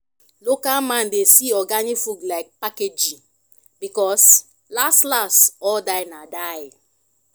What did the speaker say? local man dey see organic food like packaging because las las all "die na die"